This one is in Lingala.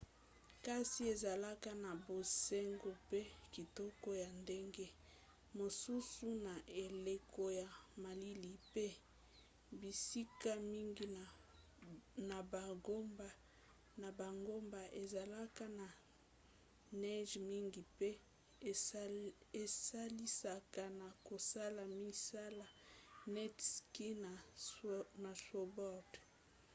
kasi ezalaka na bonzenga mpe kitoko ya ndenge mosusu na eleko ya malili pe bisika mingi na bangomba ezalaka na neige mingi mpe esalisaka na kosala misala neti ski na snowboard